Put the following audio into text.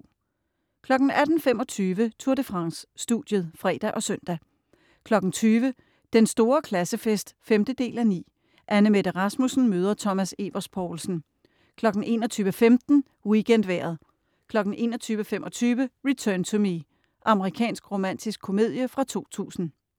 18.25 Tour de France: Studiet (fre og søn) 20.00 Den Store Klassefest 5:9. Anne-Mette Rasmussen møder Thomas Evers Poulsen. 21.15 WeekendVejret 21.25 Return to Me. Amerikansk romantisk komedie fra 2000